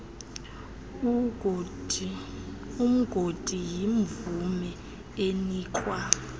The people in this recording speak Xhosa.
umgodi yimvume enikwa